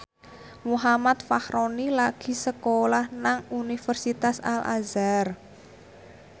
Muhammad Fachroni lagi sekolah nang Universitas Al Azhar